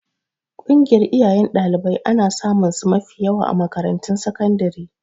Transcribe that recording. Ƙungiyar iyayen ɗalibai ana samunsu mafi yawa a makarantun sakandare.